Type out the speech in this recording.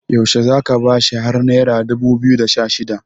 yaushe za ka bashi har naira dubu biyu da Sha shida